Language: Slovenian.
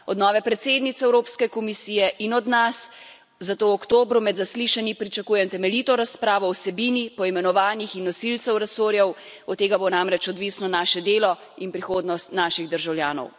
Od nove predsednice Evropske komisije in od nas zato v oktobru med zaslišanji pričakujem temeljito razpravo o vsebini, poimenovanjih in nosilcih resorjev od tega bo namreč odvisno naše delo in prihodnost naših državljanov.